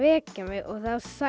mig og